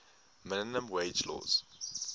minimum wage laws